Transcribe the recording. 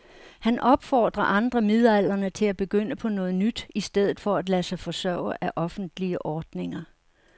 Han opfordrer andre midaldrende til at begynde på noget nyt i stedet for at lade sig forsørge af offentlige ordninger.